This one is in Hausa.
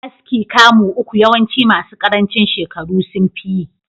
Aski kamu uku yawanci masu karancin shekaru sunfi yi.